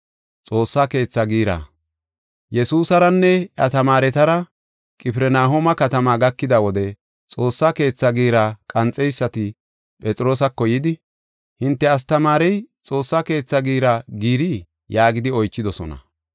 Yesuusaranne iya tamaaretara Qifirnahooma katama gakida wode Xoossa Keetha giira qanxiseysati Phexroosako yidi, “Hinte astamaarey Xoossa Keetha giira giirii?” yaagidi oychidosona.